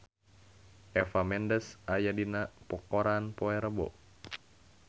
Eva Mendes aya dina koran poe Rebo